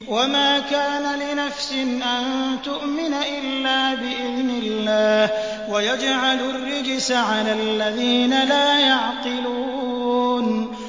وَمَا كَانَ لِنَفْسٍ أَن تُؤْمِنَ إِلَّا بِإِذْنِ اللَّهِ ۚ وَيَجْعَلُ الرِّجْسَ عَلَى الَّذِينَ لَا يَعْقِلُونَ